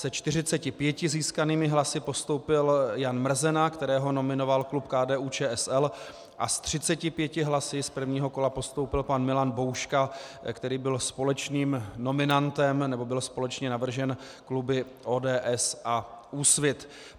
Se 45 získanými hlasy postoupil Jan Mrzena, kterého nominoval klub KDU-ČSL, a s 35 hlasy z prvního kola postoupil pan Milan Bouška, který byl společným nominantem, nebo byl společně navržen kluby ODS a Úsvit.